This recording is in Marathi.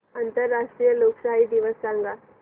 आंतरराष्ट्रीय लोकशाही दिवस सांगा